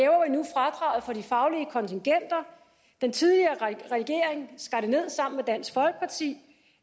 og for de faglige kontingenter den tidligere regering skar det ned sammen med dansk folkeparti